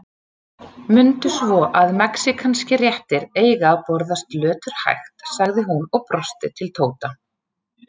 Mundu svo að mexíkanskir réttir eiga að borðast löturhægt, sagði hún og brosti til Tóta.